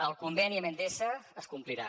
el conveni amb endesa es complirà